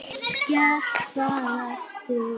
Allt gekk það eftir.